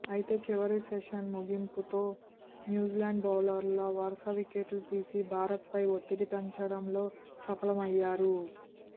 అయితే చివరి సెషన్ ముగింపులో న్యూజిలాండ్ బౌలర్లు వరుస వికెట్లు తీసి భారత్పై ఒత్తిడి పెంచడంలో సఫలమయ్యారు